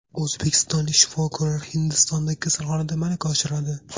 O‘zbekistonlik shifokorlar Hindistondagi kasalxonada malaka oshiradi.